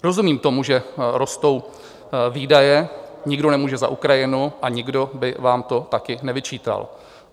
Rozumím tomu, že rostou výdaje, nikdo nemůže za Ukrajinu a nikdo by vám to také nevyčítal.